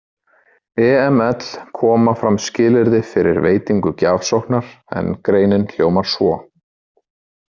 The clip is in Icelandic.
EML koma fram skilyrði fyrir veitingu gjafsóknar, en greinin hljómar svo